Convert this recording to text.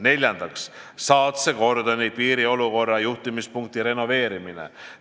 Neljandaks, Saatse kordoni piiriolukorra juhtimispunkti renoveerimine.